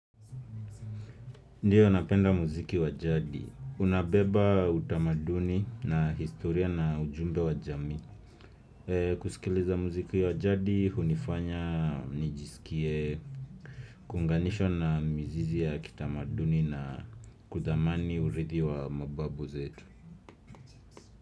Ndiyo napenda mziki wa jadi. Unabeba utamaduni na historia na ujumbe wa jamii. Kusikiliza mziki wa jadi, hunifanya, nijisikie, kuunganishwa na mzizi ya kitamaduni na kudhamani urithi wa mababu zetu.